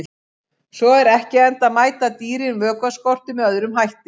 Svo er ekki, enda mæta dýrin vökvaskorti með öðrum hætti.